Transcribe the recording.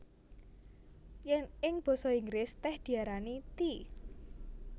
Yèn ing basa Inggris tèh diarani tea